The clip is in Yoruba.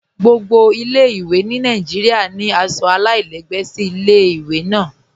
Gbogbo ilẹ̀-èdá ni Nàìjíríà ni aṣọ alailẹgbẹ sí ilẹ̀-èdá náà.